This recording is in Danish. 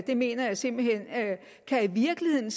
mener jeg simpelt hen i virkeligheden